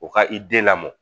U ka i den lamɔ